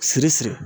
Siri si siri